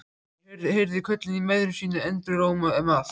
Þeir heyrðu köllin í mæðrum sínum enduróma um allt.